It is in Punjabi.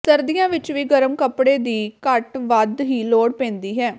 ਸਰਦੀਆਂ ਵਿਚ ਵੀ ਗਰਮ ਕੱਪੜੇ ਵੀ ਘੱਟ ਵੱਧ ਹੀ ਲੋੜ ਪੈਂਦੀ ਹੈ